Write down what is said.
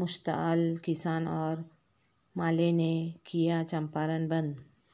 مشتعل کسان اورمالے نے کیاچمپارن بند